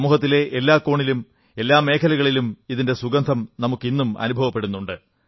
സമൂഹത്തിലെ എല്ലാ കോണിലും എല്ലാ മേഖലകളിലും ഇതിന്റെ സുഗന്ധം നമുക്ക് ഇന്നും അനുഭവപ്പെടുന്നുണ്ട്